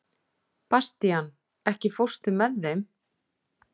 Bastían, ekki fórstu með þeim?